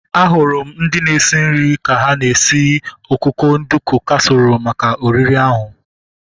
Ahụrụ m ndị na-esi nri ka ha na-esi ọkụkọ nduku kasiirọl maka oriri ahu